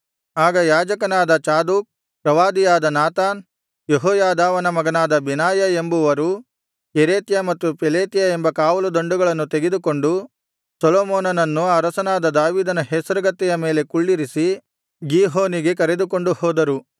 ಆಗ ಯಾಜಕನಾದ ಚಾದೋಕ್ ಪ್ರವಾದಿಯಾದ ನಾತಾನ್ ಯೆಹೋಯಾದಾವನ ಮಗನಾದ ಬೆನಾಯ ಎಂಬುವರು ಕೆರೇತ್ಯ ಮತ್ತು ಪೆಲೇತ್ಯ ಎಂಬ ಕಾವಲುದಂಡುಗಳನ್ನು ತೆಗೆದುಕೊಂಡು ಸೊಲೊಮೋನನನ್ನು ಅರಸನಾದ ದಾವೀದನ ಹೇಸರಗತ್ತೆಯ ಮೇಲೆ ಕುಳ್ಳಿರಿಸಿ ಗೀಹೋನಿಗೆ ಕರೆದುಕೊಂಡು ಹೋದರು